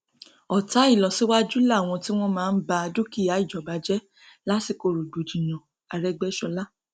ọtá ìlọsíwájú làwọn tí wọn máa ń ba dúkìá ìjọba jẹ lásìkò rògbòdìyàn àrègbéṣọlá